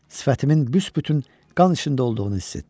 Sifətimin büsbütün qan içində olduğunu hiss etdim.